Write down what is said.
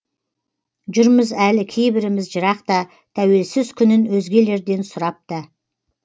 жүрміз әлі кейбіріміз жырақта тәуелсіз күнін өзгелерден сұрап та